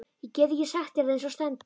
Ég get ekki sagt þér það eins og stendur.